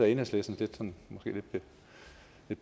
af enhedslistens lidt